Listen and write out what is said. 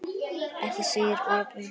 Ekki síður og jafnvel meira.